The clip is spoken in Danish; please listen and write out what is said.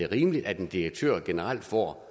rimeligt at en direktør generelt får